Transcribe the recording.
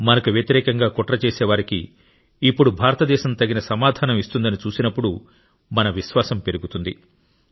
మనకు వ్యతిరేకంగా కుట్ర చేసేవారికి ఇప్పుడు భారతదేశం తగిన సమాధానం ఇస్తుందని చూసినప్పుడు మన విశ్వాసం పెరుగుతుంది